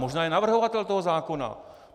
Možná je navrhovatel toho zákona.